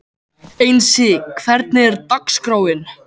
Einsi, hvernig er dagskráin?